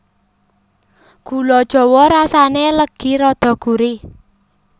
Gula jawa rasané legi rada gurih